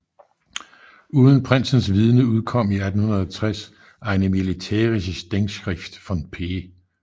Uden prinsens vidende udkom i 1860 Eine militärische Denkschrift von P